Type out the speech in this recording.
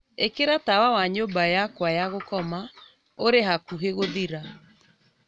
ikira tawa wa nyumba yakwa ya gukoma uri hakuhe guthira